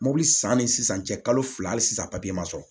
Mobili san ni sisan cɛ kalo fila hali sisan papiye ma sɔrɔ